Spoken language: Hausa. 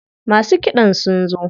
Masu kiɗan sun zo.